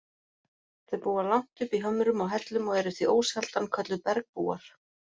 Þau búa langt uppi í hömrum og hellum og eru því ósjaldan kölluð bergbúar.